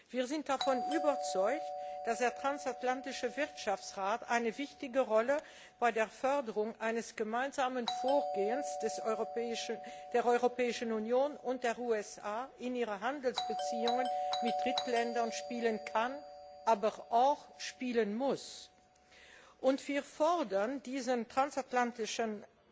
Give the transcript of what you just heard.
Wir sind davon überzeugt, dass der Transatlantische Wirtschaftsrat eine wichtige Rolle bei der Förderung eines gemeinsamen Vorgehens der Europäischen Union und der USA in ihren Handelsbeziehungen mit Drittländern spielen kann, aber auch spielen muss. Wir fordern diesen Transatlantischen